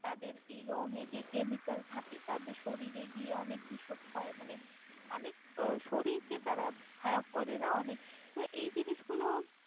তাদের এই রঙ এ যেই Chemical থাকে তাদের শরীর গিয়ে অনেক বিসসখই মানে অনেক আহ শরীর কে তারা খারাপ করে না অনেক তহ এই জিনিসগুলো।